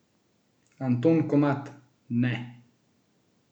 Anton Komat: "Ne!